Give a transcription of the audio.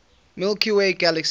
milky way galaxy